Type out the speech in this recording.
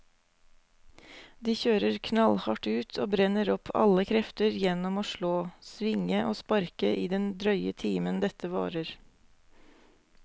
De kjører knallhardt ut og brenner opp alle krefter gjennom å slå, svinge og sparke i den drøye timen dette varer.